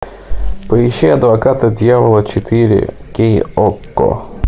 поищи адвокат дьявола четыре кей окко